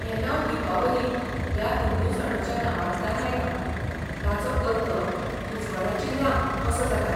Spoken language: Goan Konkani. हें नांव दीपावली ह्या हिंदू सणाच्या नांवांतल्यान आयलां, ताचो अर्थ 'उजवाडाची रांक' असो जाता.